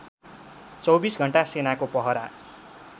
२४ घण्टा सेनाको पहरा